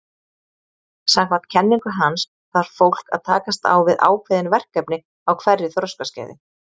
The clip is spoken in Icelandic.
Samkvæmt kenningu hans þarf fólk að takast á við ákveðin verkefni á hverju þroskaskeiði.